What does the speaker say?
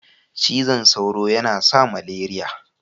Cizan sauro yana sa maleriya.